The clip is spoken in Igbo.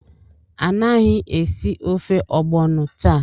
Anaghị esi ofe ogbono taa!